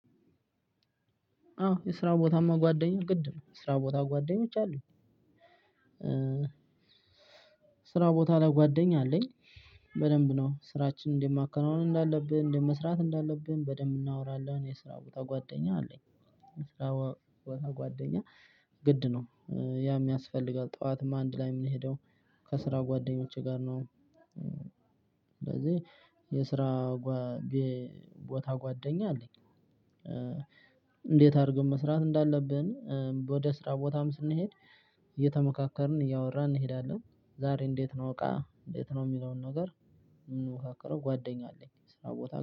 አዎ የስራ ቦታማ ጓደኛ ግድ ነው የስራ ቦታ ጓደኞች አሉኝ። ስራ ቦታ ላይ ጓደኛ አለኝ። በደንብ ነው ስራችንን እንዴትማከናወን እንዳለብን እንዴትመስራት እንዳለብን በደንብ እናወራለን የስራ ቦታ ጓደኛ አለኝ። የስራ ቦታ ጓደኛ ግድ ነው። ያም ያስፈልጋል ጠዋትም አንድ ላይ ምንሄደው ከስራ ጓደኞቼ ጋር ነው። ስለዚህ የስራ ቦታ ጓደኛ አለኝ። እንዴት አርገን መስራት እንዳለብን። ወደ ስራ ቦታም ስንሄድ እየተመካከርን እያወራን እንሄዳለን። ዛሬ እንዴት ነው እቃ እንዴት ነው ሚለውን ነገር። ምንወካከለው ጓደኛ አለኝ ስራ ቦታ